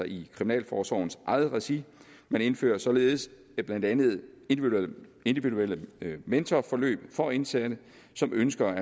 i kriminalforsorgens eget regi man indfører således blandt andet individuelle mentorforløb for indsatte som ønsker